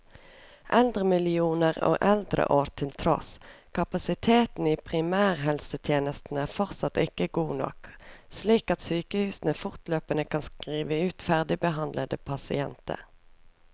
Eldremillioner og eldreår til tross, kapasiteten i primærhelsetjenesten er fortsatt ikke god nok, slik at sykehusene fortløpende kan skrive ut ferdigbehandlede pasienter.